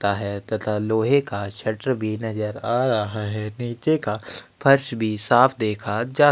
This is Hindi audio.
ता है तथा लोहे का शटर भी नज़र रहा है नीचे का फर्श भी साफ़ देखा जा--